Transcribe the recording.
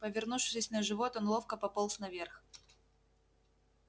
повернувшись на живот он ловко пополз наверх